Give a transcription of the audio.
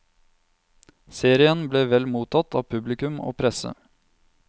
Serien ble vel mottatt av publikum og presse.